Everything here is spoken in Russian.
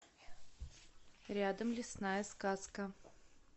рядом лесная сказка